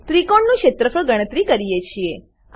ત્રિકોણનું ક્ષેત્રફળ ગણતરી કરીએ છીએ